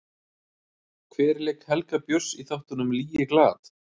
Hver lék Helga Björns í þáttunum Ligeglad?